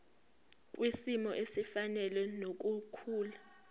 kwisimo esifanele nokukhula